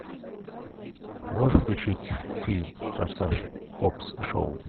можешь включить фильм форсаж хоббс и шоу